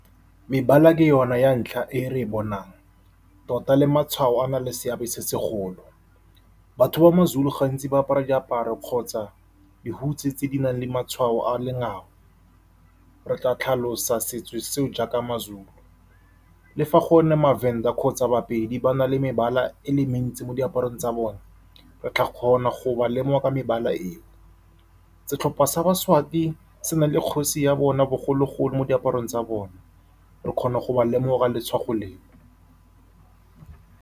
Mebala ke yona ya ntlha e re bonang, tota le matshwao a na le seabe se segolo. Batho ba Mazulu gantsi ba apara diaparo kgotsa dihutshe tse di nang le matshwao a lengau, re tla tlhalosa setso seo jaaka Mazulu. Le fa gone Mavenda kgotsa ba-Pedi ba na le mebala e le mentsi mo diaparong tsa bone re tla kgona go ba lemoga ka mebala eo. Setlhopha sa ba-Swati se na le kgosi ya bona bogologolo mo diaparong tsa bona, re kgona go ba lemoga letswakgo leo.